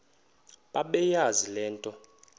bebeyazi le nto